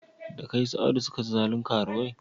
Da kai su Audu suka ci zalin karuwai?